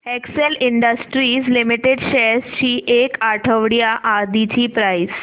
Excel industries limited shares ची एक आठवड्या आधीची प्राइस